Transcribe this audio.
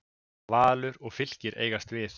Valur og Fylkir eigast við.